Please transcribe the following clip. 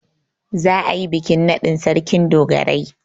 Za'a yi bikin naɗin Sarkin dogarai.